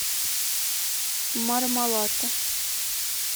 мармалато